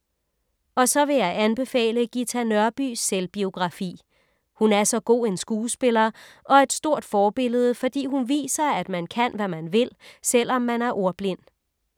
Og så vil jeg anbefale Ghita Nørbys selvbiografi. Hun er så god en skuespiller og et stort forbillede, fordi hun viser, at man kan, hvad man vil, selv om man er ordblind.